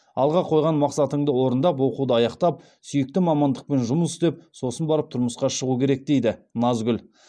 алға қойған мақсатыңды орындап оқуды аяқтап сүйікті мамандықпен жұмыс істеп сосын барып тұрмысқа шығу керек дейді назгүл